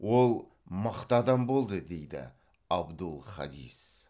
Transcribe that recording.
ол мықты адам болды дейді абдул хадис